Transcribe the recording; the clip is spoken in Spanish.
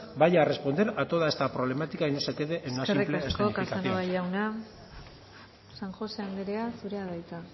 vaya a responder a toda esta problemática y no se quede en una simple escenificación eskerrik asko casanova jauna san josé anderea zurea da hitza